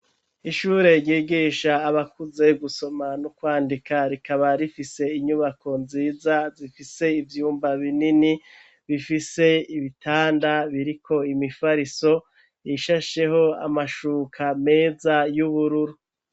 Ishure ryigisha abakuze gusoma no kwandika rikaba rifise inyubako nziza zifise ivyumba binini bifise ibitanda biriko imifariso ishasheho amashuka meza y'ubururu